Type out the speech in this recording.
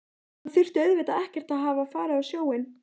Hann þurfti auðvitað ekkert að hafa farið á sjóinn.